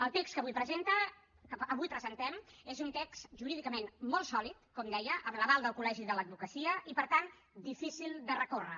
el text que avui presentem és un text jurídicament molt sòlid com deia amb l’aval del col·legi de l’advocacia i per tant difícil de recórrer